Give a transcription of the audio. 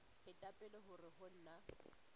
feta pele hore ho na